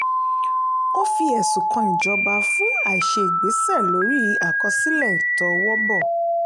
ó fi ẹ̀sùn kan ìjọba fún àìṣe ìgbésẹ̀ lórí àkọsílẹ̀ ìtọwọ́bọ̀.